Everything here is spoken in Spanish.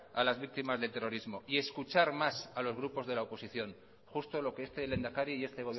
a las víctimas del terrorismo y escuchar más a los grupos de la oposición justo lo que este lehendakari y este